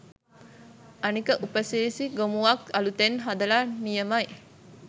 අනික උපසිරසි ගොමුවක් අලුතෙන් හදල නියමයි